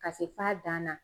Ka se f'a dan na